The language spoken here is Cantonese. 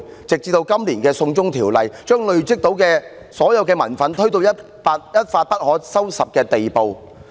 直至今年提出就《逃犯條例》作出修訂，把累積的民憤推到一發不可收拾的地步。